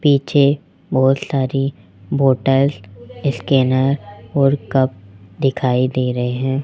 पीछे बहोत सारी बॉटल्स स्कैनर् और कप दिखाई दे रहे हैं।